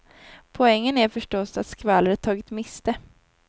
Poängen är förstås att skvallret tagit miste.